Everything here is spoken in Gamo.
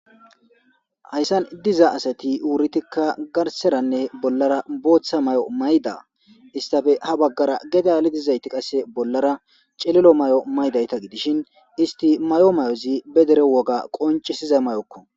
Hayssan diza asati wuritikka garseranne bollara booththa may'o mayda istafe ha baggara geda alidizayti qasse bollara cililo may'o maydayta gidishin isti may'o may'ozi be dere woga qoncisiza mayokko.